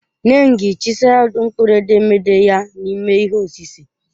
Nengi chiseled mkpụrụ edemede ya n'ime ihe osise ya.